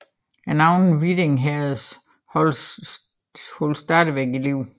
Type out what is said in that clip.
Navnet Viding Herred holdes stadig i live